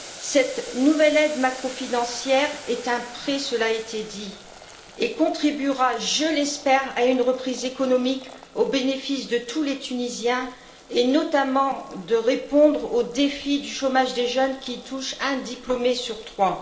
Cette nouvelle aide macrofinancière est un prêt cela a été dit elle contribuera, je l'espère, à une reprise économique au bénéfice de tous les Tunisiens et permettra, notamment, de répondre au défi du chômage des jeunes qui touche un diplômé sur trois.